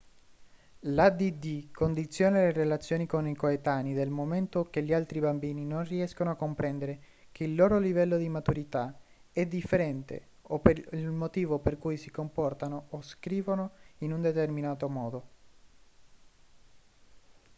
l'add condiziona le relazioni con i coetanei dal momento che gli altri bambini non riescono a comprendere che il loro livello di maturità è differente o il motivo per cui si comportano o scrivono in un determinato modo